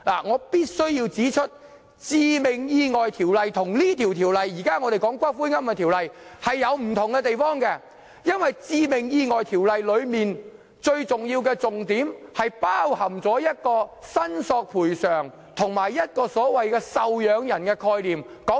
我必須指出《致命意外條例》與我們現在討論的《條例草案》有不同之處，因為《致命意外條例》最重要的重點是包括"賠償申索"和"受養人"的概念。